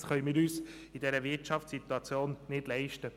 Das können wir uns in dieser Wirtschaftssituation nicht leisten.